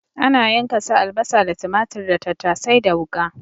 Ana yanka su albasa da tumatur da tattasai da wuƙa.